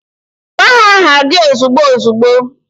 Gwa ha aha gi ozigbo ozigbo